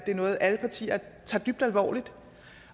er noget alle partier tager dybt alvorligt